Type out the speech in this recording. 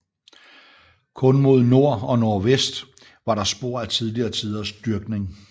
Kun mod nord og nordvest var der spor af tidligere tiders dyrkning